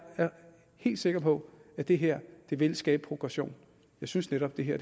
er helt sikker på at det her vil skabe progression jeg synes netop at det her